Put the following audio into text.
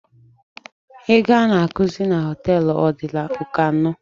Ego a na-akụzi na hotel adịla oke onụ